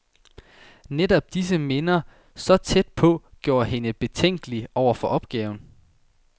Netop disse minder, så tæt på, gjorde hende betænkelig over for opgaven.